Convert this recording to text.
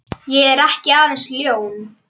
Ég er ekki aðeins ljón.